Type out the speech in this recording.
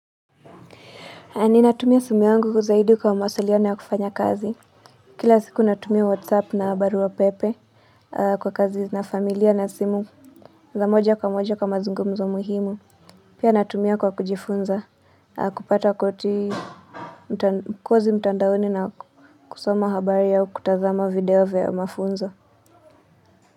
Ninatumia simu yangu zaidi kwa mawasiliano ya kufanya kazi. Kila siku natumia whatsapp na baruapepe kwa kazi na familia na simu za moja kwa moja kwa mazungumzo muhimu. Pia natumia kwa kujifunza kupata kozi mtandaoni na kusoma habari au kutazama video vya mafunzo.